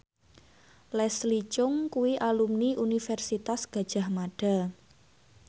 Leslie Cheung kuwi alumni Universitas Gadjah Mada